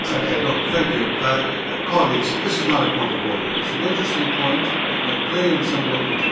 Colleagues, this is not a point of order it is an interesting point and it might play on some local TV, but it is not a point of order.